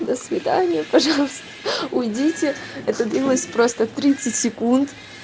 до свидания пожалуйста уйдите это длилось просто тридцать секунд